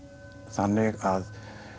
þannig að